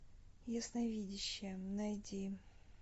ясновидящая найди